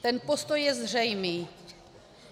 Ten postoj je zřejmý.